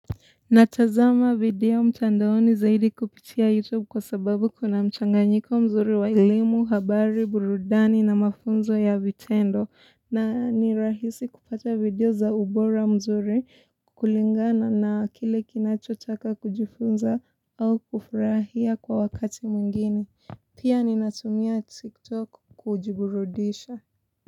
Natazama video mtandaoni zaidi kupitia youtube kwa sababu kuna mchanganyiko mzuri wa elimu habari burudani na mafunzo ya vitendo na ni rahisi kupata video za ubora mzuri kulingana na kile kinachotaka kujifunza au kufurahia kwa wakati mwingine pia ninatumia tiktok kujiburudisha.